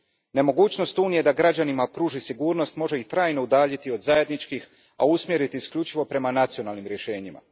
Nemogućnost Unije da građanima pruži sigurnost može ih trajno udaljiti od zajedničkih, a usmjeriti isključivo prema nacionalnim rješenjima.